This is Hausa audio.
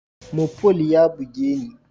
Mopol ya buge ni.